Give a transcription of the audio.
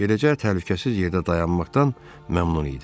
Beləcə təhlükəsiz yerdə dayanmaqdan məmnun idilər.